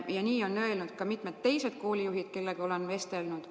Ja sama on öelnud ka mitmed teised koolijuhid, kellega olen vestelnud.